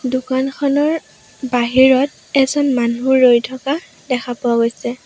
দোকানখনৰ বাহিৰত এজন মানুহ ৰৈ থকা দেখা পোৱা গৈছে।